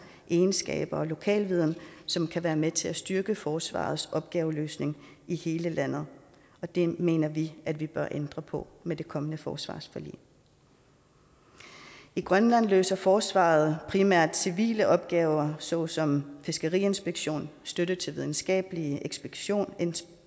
de egenskaber og den lokalviden som kan være med til at styrke forsvarets opgaveløsning i hele landet og det mener vi at vi bør ændre på med det kommende forsvarsforlig i grønland løser forsvaret primært civile opgaver såsom fiskeriinspektion støtte til videnskabelige ekspeditioner